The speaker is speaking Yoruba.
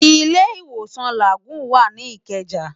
Ilé Iwósán Lágúùn wá ni Ikeja